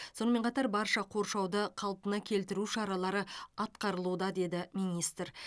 сонымен қатар барша қоршауды қалпына келтіру шаралары атқарылуда деді министр